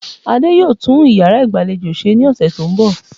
Adé yóò tún iyàrá ìgbàlejò se ní òsè tó n bò